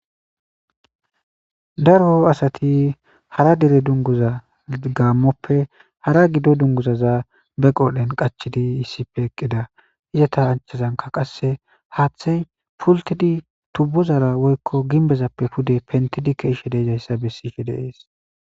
daro asati hara dere dunguza gammoppe hara gido dunguzaza be qodhen qachidi yissife eqqida izata anchazanka qasse haathey pultidi tubbu zara woykko gimbezappe pude pentidike ishe deejayssa bessife deees